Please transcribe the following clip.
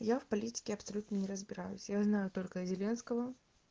я в политике абсолютно не разбираюсь я знаю только зеленского